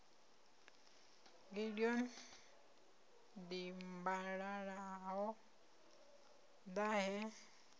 gideon dimbalala ho ḓa he